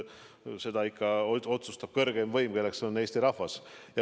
Seda otsustab kõrgeim võim, kelleks on Eesti rahvas.